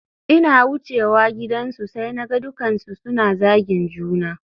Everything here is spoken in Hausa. Ina wucewa gidansu sai naga dukkansu suna zagin juna